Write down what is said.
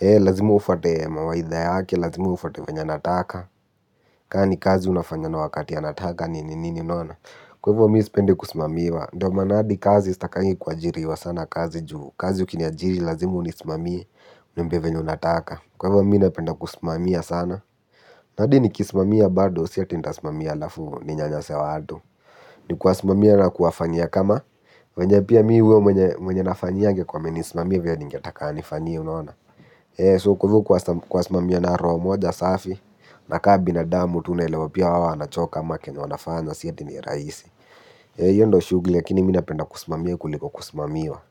Lazimua ufate mawaidha yake, lazimu ufate venye anataka. Ka ni kazi unafanyana wakati nataka, nini, nini, unaona? Kwahivo mi sipendi kusimamiwa. Ndo maana hadi kazi sitakagi kuajiriwa sana kazi juu kazi ukiniajiri lazimu unisimamia uniambie venye unataka. Kwa hivo mi napenda kusimamia sana. Na hadi nikisimamia bado si ati nitasmamia alafu ninyanyase watu, ni kuwasimamia na kuwafanya kama venye pia huyo nafanyi angekuwa amenisimamia vile ningetaka anifanyie unaona? So kuwasimamia na roho moja safi ka binadamu tu naelewa na pia wao wanachoka ama chenye wanafanya si eti ni rahisi. Hiyo ndo shughuli lakini mimi napenda kusimamia kuliko kusimamiwa.